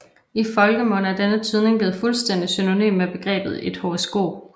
I folkemunde er denne tydning blevet fuldstændig synonym med begrebet et horoskop